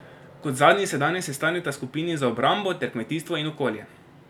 Kot zadnji se danes sestaneta skupini za obrambo ter kmetijstvo in okolje.